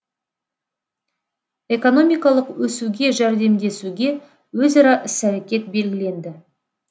экономикалық өсуге жәрдемдесуге өзара іс әрекет белгіленді